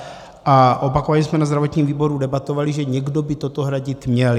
A opakovaně jsme na zdravotním výboru debatovali, že někdo by toto hradit měl.